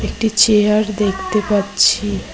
একটি চেয়ার দেখতে পাচ্ছি।